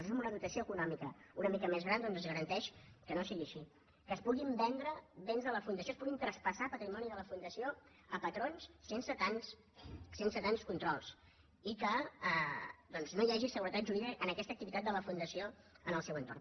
això amb una dotació econòmica una mica més gran doncs es garanteix que no sigui que es puguin vendre béns a la fundació es pugui traspassar patrimoni de la fundació a patrons sense tants controls i que doncs no hi hagi seguretat jurídica en aquesta activitat de la fundació en el seu entorn